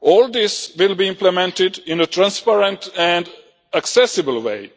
All this will be implemented in a transparent and accessible way